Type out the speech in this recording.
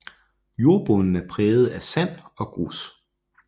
Jornbunden er præget af sand og grus